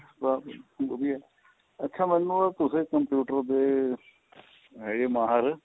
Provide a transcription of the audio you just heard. ਬੱਸ ਵਧੀਆ ਅੱਛਾ ਮੈਨੂੰ ਏਹ ਪੁੱਛਣਾ computer ਦੇ ਹੈਗੇ ਮਾਹਿਰ